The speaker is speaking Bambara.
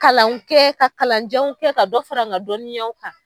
Kalan kɛ, ka kalanjanw kɛ, ka dɔ fara n ka dɔnniyaw kan.